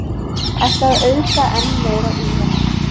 Ætla að auðga enn meira úran